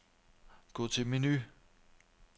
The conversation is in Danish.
Gå til menu.